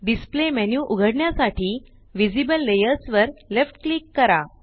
displayमेन्यू उघडण्यासाठी visible layers वर left click करा